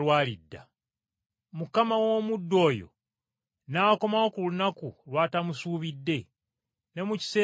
Mukama w’omuddu oyo n’akomawo ku lunaku lw’atamusuubidde ne mu kiseera ky’atamanyi,